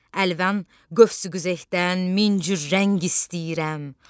Əlvan qövsü-qüzehdən min cür rəng istəyirəm.